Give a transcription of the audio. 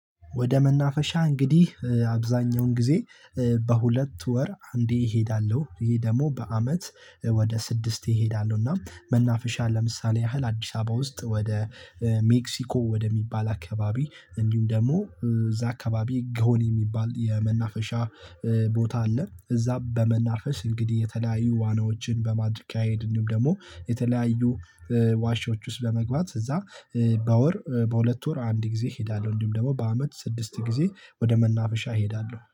ወደ መናፈሻ እንግዲህ አብዛኛውን ጊዜ በሁለት ወር አንዴ እሄዳለሁ። ይሄ ደግሞ በአመት ወደ ስድስቴ እሄዳለሁ። እና መናፍሻ ለምሳሌ ያህል አዲስ አበባ ውስጥ ወደ ሜክሲኮ ወደሚባል አካባቢ እንዲሁም ደግሞ እዛ አካባቢ ጊዮን የሚባል የመናፈሻ ቦታ አለ። እዛ በመናፍስ እንግዲህ የተለያዩ ዋናዎችን በማድረ በማካሄድ ደግሞ የተለያዩ ዋሻዎች ውስጥ ለመግባት እዛ በወር በሁለት ወር አንድ ጊዜ እሄዳለሁ። እንዲሁም ደግሞ በአመት ስድስት ጊዜ ወደ መናፈሻ እሄዳለሁ